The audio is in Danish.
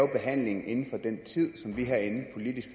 behandlingen inden for den tid som vi herinde politisk